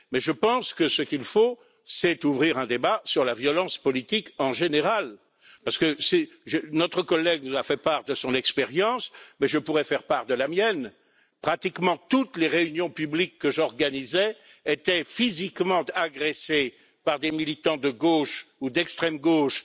Mais je pense que ce qu'il faut, c'est ouvrir un débat sur la violence politique en général, parce que notre collègue nous a fait part de son expérience, mais je pourrais faire part de la mienne. À pratiquement toutes les réunions publiques que j'ai organisées, des agressions physiques ont été commises par des militants de gauche ou d'extrême gauche